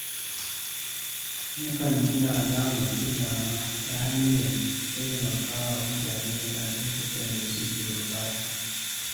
Nakan nuna alamar kulawa ta hanyar taimakawa mutane a lokutan da suke buƙata.